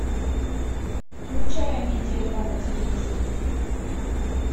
включай амедиа два на телевизоре